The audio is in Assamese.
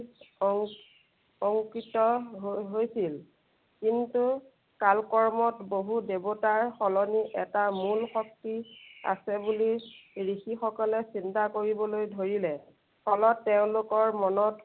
অংকিত হৈ~হৈছিল। কিন্তু কালক্ৰমত বহু দেৱতাৰ সলনি এটা মূল শক্তি আছে বুলি ঋষি সকলে চিন্তা কৰিবলৈ ধৰিলে। ফলত তেওঁলোকৰ মনত